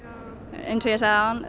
eins og ég sagði áðan